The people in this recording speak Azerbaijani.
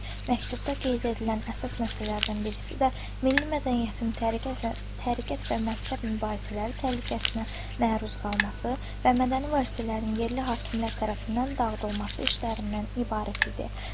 Məktubda qeyd edilən əsas məsələlərdən birisi də milli mədəniyyətin təriqət və məzhəb mübahisələri təhlükəsinə məruz qalması və mədəni vasitələrin yerli hakimlər tərəfindən dağıdılması işlərindən ibarət idi.